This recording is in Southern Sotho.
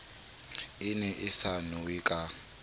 ne e sa nowe ka